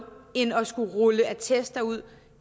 end at skulle rulle attester ud